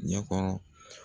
Ɲɛ kɔnɔ.